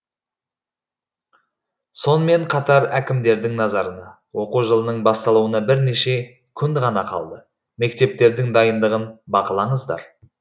сонымен қатар әкімдердің назарына оқу жылының басталуына бірнеше күн ғана қалды мектептердің дайындығын бақылаңыздар